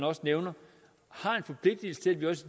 også nævner